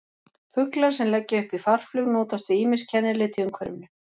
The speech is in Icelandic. Fuglar sem leggja upp í farflug notast við ýmis kennileiti í umhverfinu.